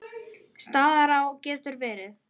Staðará getur verið